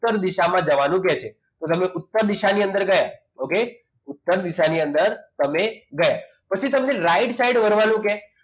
ઉત્તર દિશામાં જવાનું કહે છે તો તમે ઉત્તર દિશાની અંદર ગયા okay ઉત્તર દિશાની અંદર તમે ગયા પછી તમને right side વળવાનું કે